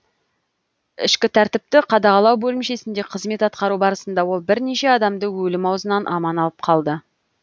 ішкі тәртіпті қадағалау бөлімшесінде қызмет атқару барысында ол бірнеше адамды өлім аузынан аман алып қалды